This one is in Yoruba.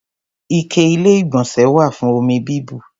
Ike Ilé-ìgbọ̀nsẹ̀ wà fún omi bíbù.